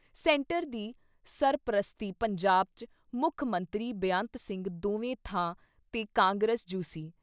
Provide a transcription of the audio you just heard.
Centre ਦੀ ਸਰਪ੍ਰਸਤੀ ਪੰਜਾਬ ’ਚ ਮੁੱਖ ਮੰਤਰੀ ਬੇਅੰਤ ਸਿੰਘ ਦੋਵੇਂ ਥਾਂ ’ਤੇ ਕਾਂਗਰਸ ਜੁ ਸੀ।